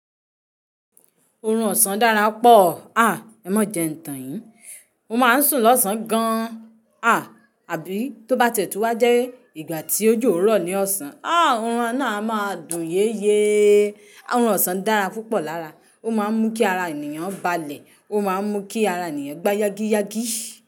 Oorun ọ̀sán dára pọ̀. À, ẹ má jẹ ń tàn yín. Mo máa ń sùn lọ́sàn gan an Àbí tó bá tẹ̀tù wá jẹ́ ìgbà tí òjò rọ̀ ní ọ̀sán, á, oorun náà a máa dùn yéeyee. Oorun ọ̀sán dára púpọ̀ lára. Ó máa ń mú kí ara ènìyàn balẹ̀, ó máa ń mú kí ara ènìyàn gbá yágíyágí.